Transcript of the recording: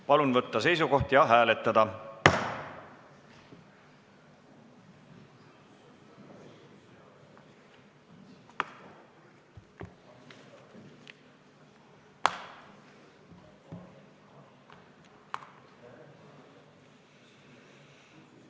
Palun võtta seisukoht ja hääletada!